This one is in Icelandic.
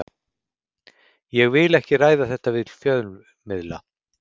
Ég vil ekki ræða þetta við fjölmiðla.